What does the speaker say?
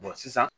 sisan